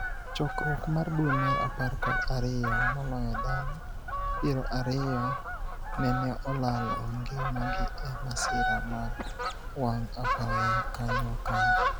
Chakruok mar dwee mar apar kod ariyo ,maloyo dhano piero ariyo neneolalo ngima gi e masira mar wang' apaya kanyo kanyo.